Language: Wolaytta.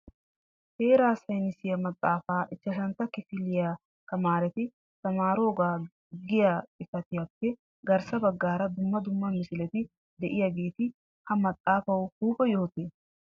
Heeraa saynissiya maxaafa ichashshantta kifiliya tamaareti tamaariyooga giya xifaatiyappe garssa baggaara dumma dumma misileti de'iyaageeti ha maxaafaw huuphe yohotee ?